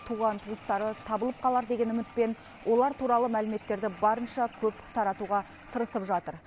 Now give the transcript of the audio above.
туған туыстары табылып қалар деген үмітпен олар туралы мәліметтерді барынша көп таратуға тырысып жатыр